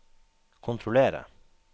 kontrollere